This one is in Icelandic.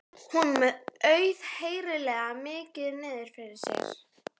Honum er auðheyrilega mikið niðri fyrir.